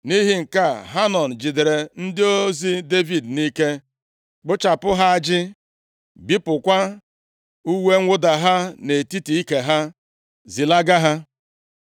Nʼihi nke a, Hanọn jidere ndị ozi Devid nʼike, kpụchapụ ha ajị, bipụkwa uwe mwụda ha nʼetiti ike ha, zilaga ha.